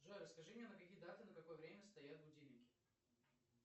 джой скажи мне на какие даты на какое время стоят будильники